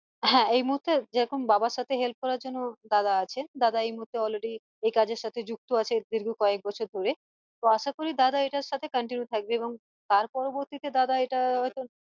হ্যাঁ এই মুহূর্তে যেরকম বাবার সাথে help জন্য দাদা আছে দাদা এই মুহূর্তে already এই কাজের সাথে যুক্ত আছে দীর্ঘ কয়েক বছর ধরে তো আশা করি দাদা এইটার সাথে continue থাকবে এবং তার পরবর্তীতে দাদা এইটা